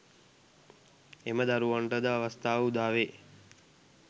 එම දරුවනට ද අවස්ථාව උදාවේ.